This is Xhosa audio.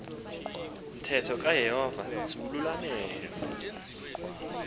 mthetho kayehova siwululamele